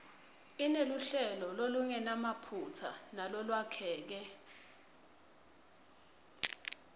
ineluhlelo lolungenamaphutsa nalolwakheke